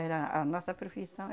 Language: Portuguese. Era a nossa profissão.